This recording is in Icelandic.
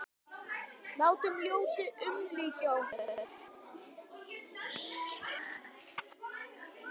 Látum ljósið umlykja okkur.